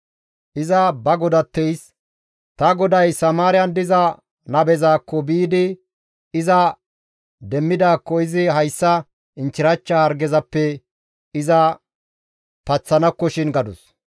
Iza ba godatteys, «Ta goday Samaariyan diza nabezaakko biidi iza demmidaakko izi hayssa inchchirachcha hargezappe iza paththanakkoshin» gadus.